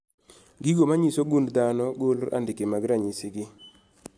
. Gigo manyiso gund dhano golo andike mag ranyisi gi